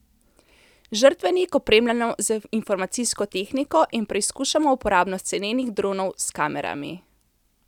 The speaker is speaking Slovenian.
Žrtvenik opremljamo z informacijsko tehniko in preizkušamo uporabnost cenenih dronov s kamerami.